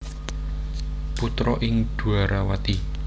Putra ing Dwarawati